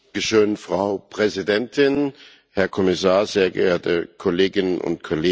Frau Präsidentin, Herr Kommissar, sehr geehrte Kolleginnen und Kollegen!